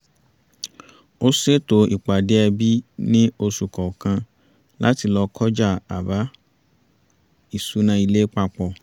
a ṣètò ìpádé ẹbí ní oṣù kọ̀ọ̀kan láti lọ kọjá àbá-ìṣúná ilé papọ̀